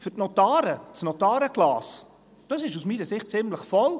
Für die Notare ist das Notarenglas aus meiner Sicht ziemlich voll.